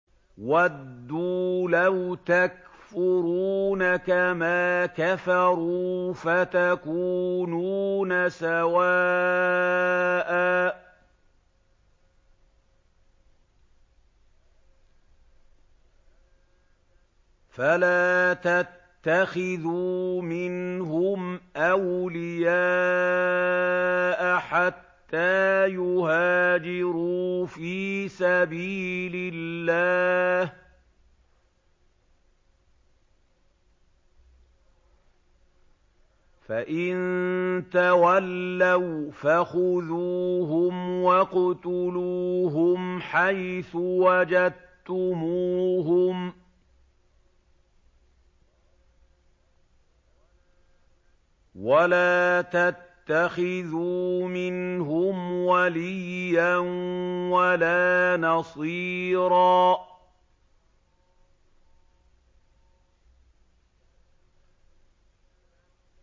وَدُّوا لَوْ تَكْفُرُونَ كَمَا كَفَرُوا فَتَكُونُونَ سَوَاءً ۖ فَلَا تَتَّخِذُوا مِنْهُمْ أَوْلِيَاءَ حَتَّىٰ يُهَاجِرُوا فِي سَبِيلِ اللَّهِ ۚ فَإِن تَوَلَّوْا فَخُذُوهُمْ وَاقْتُلُوهُمْ حَيْثُ وَجَدتُّمُوهُمْ ۖ وَلَا تَتَّخِذُوا مِنْهُمْ وَلِيًّا وَلَا نَصِيرًا